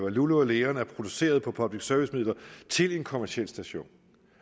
at lulu leon er produceret på public service midler til en kommerciel station